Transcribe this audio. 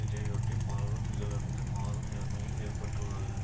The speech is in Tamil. இதையொட்டி பலரும் இதிலிருந்து மாறும் நிலைமையும் ஏற்பட்டுள்ளது